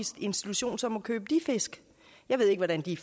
institution så må købe de fisk jeg ved ikke hvordan de